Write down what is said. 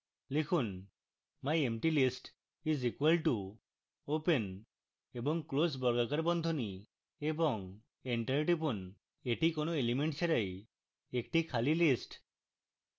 লিখুন myemptylist is equal to open এবং close বর্গাকার বন্ধনী এবং enter টিপুন এটি কোনো এলিমেন্ট ছাড়াই একটি খালি list